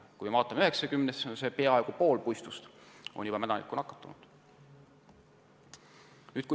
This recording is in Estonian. Kui vaatame 90-aastast puistut, siis seal on peaaegu pool puistust mädanikuga nakatunud.